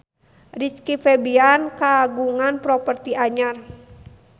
Rizky Febian kagungan properti anyar